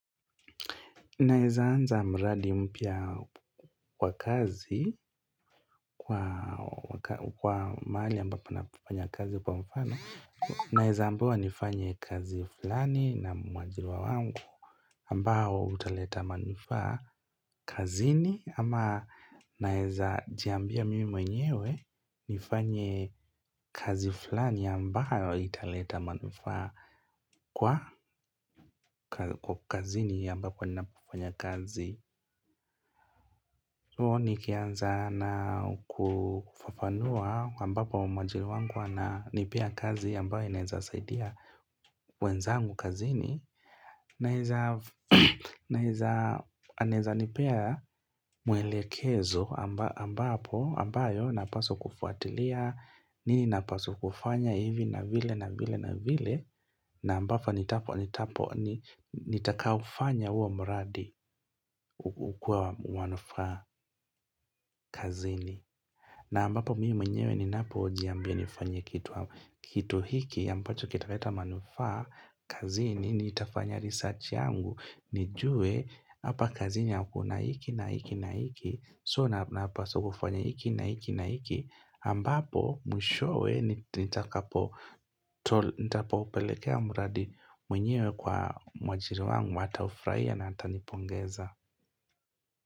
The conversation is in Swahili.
Naeza anza mradi mpya wa kazi kwa mahali ambapo napofanya kazi kwa mfano, Naeza ambiwa nifanye kazi fulani na mwajiriwa wangu ambao utaleta manufaa kazini. Ama naeza jiambia mimi mwenyewe nifanye kazi fulani ambayo italeta manufaa kwa kazini ambapo ninapofanya kazi. Nikianza na kufafanua ambapo mwajiri wangu ananipea kazi ambayo inaeza saidia wenzangu kazini. Naeza anaeza nipea mwelekezo ambapo ambayo napaswa kufuatilia, nini napaswa kufanya hivi na vile na vile na vile. Na ambavyo nitakaofanya huo mradi ukuwe wa manufaa kazini. Na ambapo mimi mwenyewe ninapojiambia nifanye kitu hiki ambacho kitaleta manufaa, kazini, nitafanya research yangu nijue hapa kazini hakuna hiki na hiki na hiki, So napaswa kufanya hiki na hiki na hiki, ambapo mwishowe nitakapo pelekea muradi mwenyewe kwa mwajiri wangu ataufurahia na atanipongeza.